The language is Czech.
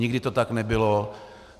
Nikdy to tak nebylo.